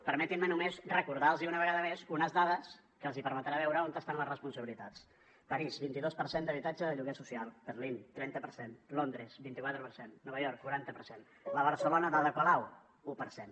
permetin me només recordar los una vegada més unes dades que els permetran veure on estan les responsabilitats parís vint dos per cent d’habitatge de lloguer social berlín trenta per cent londres vint quatre per cent nova york quaranta per cent la barcelona d’ada colau un per cent